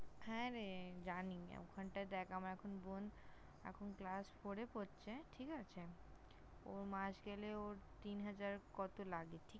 হ্যাঁ রে জানি। ওখানটায় দেখ আমার এখন বোন এখন Class Four -এ পড়ছে। ঠিক আছে ।ওর মাস গেলে ওর তিন হাজার কত লাগে।